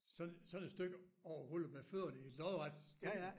Sådan sådan et stykke og rulle med fødderne i lodret stilling